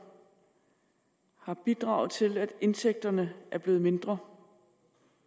har bidraget til at indtægterne er blevet mindre